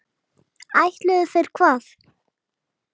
Ætluðu þeir hvað?